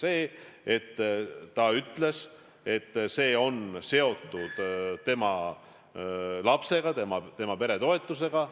See oli see, et naine ütles, et see raha on seotud tema lapsega, tema peretoetusega.